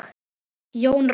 Jón Róbert.